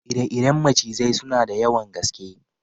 Ire-iren macizai suna da yawan gaske.